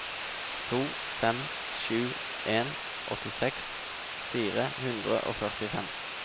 to fem sju en åttiseks fire hundre og førtifem